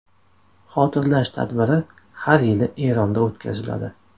Xotirlash tadbiri har yili Eronda o‘tkaziladi.